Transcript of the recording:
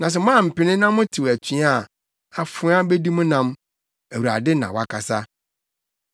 Na sɛ moampene na motew atua a, afoa bedi mo nam.” Awurade na wakasa.